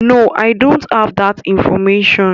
No, I don't have that information.